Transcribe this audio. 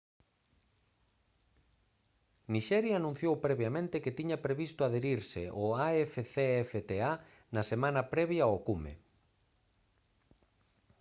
nixeria anunciou previamente que tiña previsto adherise ao afcfta na semana previa ao cume